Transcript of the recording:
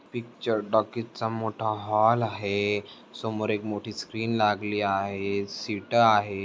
Picture talkies चा मोठा hall आहे. समोर एक मोठी स्क्रीन लागली आहे. सीट आहे.